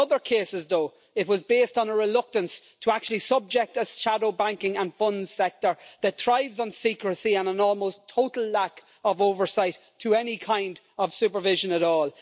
But in other cases though, it was based on a reluctance to actually subject a shadow banking and funds sector that thrives on secrecy and on an almost total lack of oversight to any kind of supervision at all.